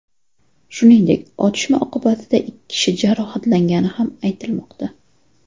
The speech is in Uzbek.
Shuningdek, otishma oqibatida ikki kishi jarohatlangani ham aytilmoqda.